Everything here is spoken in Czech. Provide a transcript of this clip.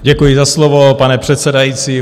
Děkuji za slovo, pane předsedající.